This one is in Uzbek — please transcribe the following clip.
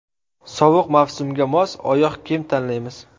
Sovuq mavsumga mos oyoq kiyim tanlaymiz.